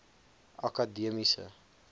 akademiese